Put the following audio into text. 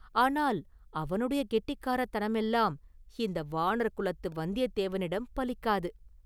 ஆனால் அவனுடைய கெட்டிக்காரத்தனமெல்லாம் இந்த வாணர்குலத்து வந்தியத்தேவனிடம் பலிக்காது!